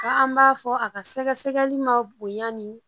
Ka an b'a fɔ a ka sɛgɛsɛgɛli ma bonya ni